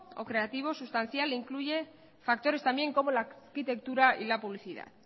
o creativo sustancial que incluye factores también como la arquitectura y la publicidad